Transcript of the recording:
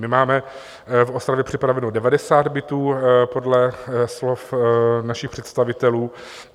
My máme v Ostravě připraveno 90 bytů podle slov našich představitelů.